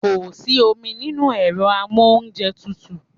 Kò sí omi nínú ẹ̀rọ amóúnjẹtutù.